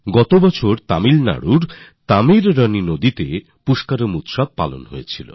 গত বছর তামিলনাডুর তামীরবরনী নদীতে পুষ্করম হয়েছিল